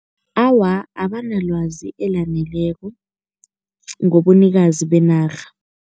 Awa, abanalwazi elaneleko ngobunikazi benarha.